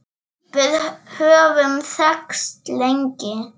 Við höfum þekkst lengi.